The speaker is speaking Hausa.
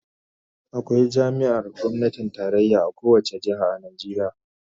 Akwai jami'ar gwamnatin tarayya a kowace jiha a Najeriya